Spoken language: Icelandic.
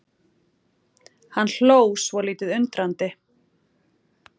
Hann hló svolítið undrandi.